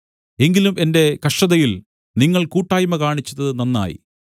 എങ്കിലും എന്റെ കഷ്ടതയിൽ നിങ്ങൾ കൂട്ടായ്മ കാണിച്ചത് നന്നായി